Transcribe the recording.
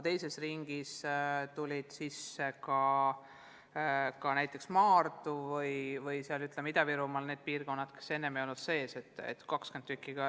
Teises ringis lisandusid ka näiteks Maardu ja Ida-Virumaa need piirkonnad, mis enne ei olnud programmi haaratud.